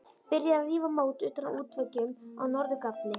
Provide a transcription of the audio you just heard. Byrjað að rífa mót utan af útveggjum á norður gafli.